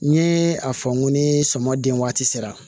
N ye a fɔ n ko ni sɔmin waati sera